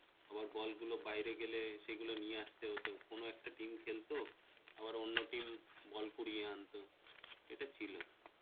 আবার বল গুলো বাইরে গেলে সেগুলো নিয়ে আসতে হতো কোন একটা team খেলত, আবার অন্য team ball কুড়িয়ে আনতো এটা ছিল